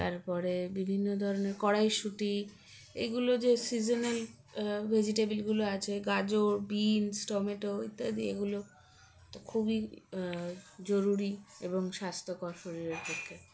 তারপরে বিভিন্ন ধরনের কড়াইশুঁটি এগুলো যে seasonal আ vegetable -গুলো আছে গাজর বিনস টমেটো ইত্যাদি এগুলো তো খুবই আ জরুরি এবং স্বাস্থ্যকর শরীরের পক্ষে